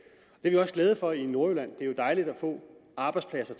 det er vi også glade for i nordjylland det er jo dejligt at få arbejdspladser